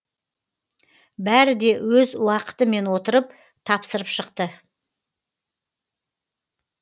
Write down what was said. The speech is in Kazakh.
бәрі де өз уақытымен отырып тапсырып шықты